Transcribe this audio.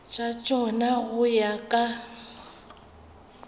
tša tšona go ya ka